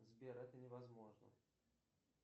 сбер это невозможно